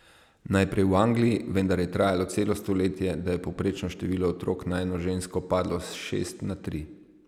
Najprej v Angliji, vendar je trajalo celo stoletje, da je povprečno število otrok na eno žensko padlo s šest na tri.